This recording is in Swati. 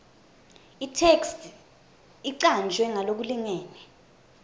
itheksthi icanjwe ngalokulingene